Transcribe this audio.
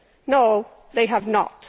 No, they have not.